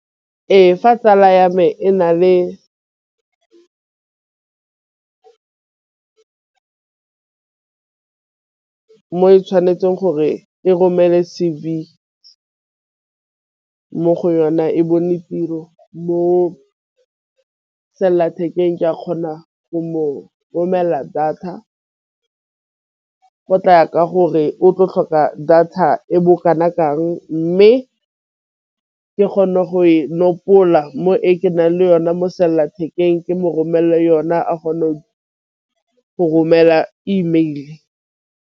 Ee, fa tsala ya me e na le mo e tšhwanetseng gore e romele C_V mo go yona e bone tiro mo selelathekeng ke a kgona go mo romela data tlaya ka gore o tlo tlhoka di fa e bo kana kang mme ke kgone go e nkgopola mo e ke nang le yone mo selelathekeng ke mo romelela yone a kgonang go romela email.